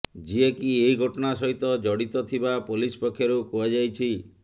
ଯିଏକି ଏହି ଘଟଣା ସହିତ ଜଡିତ ଥିବା ପୋଲିସ ପକ୍ଷରୁ କୁହାଯାଇଛି